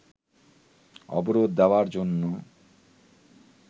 অবরোধ দেয়ার জন্য